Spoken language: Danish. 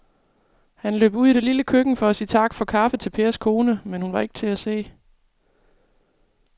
Han løb ud i det lille køkken for at sige tak for kaffe til Pers kone, men hun var ikke til at se.